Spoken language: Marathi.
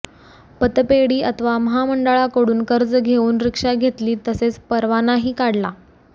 पतपेढी अथवा महामंडळांकडून कर्ज घेऊन रिक्षा घेतली तसेच परवानाही काढला